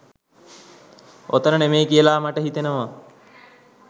ඔතන නෙමෙයි කියලා මට හිතෙනෙවා